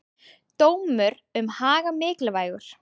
Dómur um Haga mikilvægur